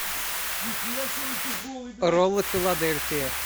роллы филадельфия